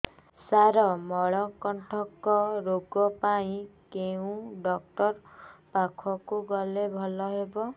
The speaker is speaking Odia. ସାର ମଳକଣ୍ଟକ ରୋଗ ପାଇଁ କେଉଁ ଡକ୍ଟର ପାଖକୁ ଗଲେ ଭଲ ହେବ